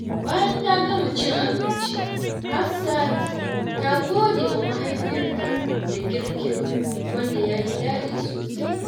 Bayan ta gama cin abinci, Hafsat ta gode wa mahaifiyarta da girkin, wanda ya yi daɗi sosai.